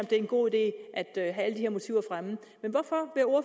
det er en god idé at have alle de her motiver fremme men hvorfor